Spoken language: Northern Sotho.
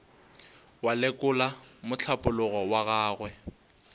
wa lekola mohlapologo wa gagwe